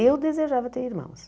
Eu desejava ter irmãos.